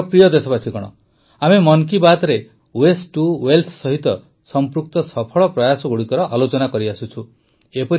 ମୋର ପ୍ରିୟ ଦେଶବାସୀଗଣ ଆମେ ମନ୍ କୀ ବାତରେ ୱେଷ୍ଟ୍ ଟୁ ୱେଲଥ ସହିତ ସଂପୃକ୍ତ ସଫଳ ପ୍ରୟାସଗୁଡ଼ିକର ଆଲୋଚନା କରିଆସୁଛୁ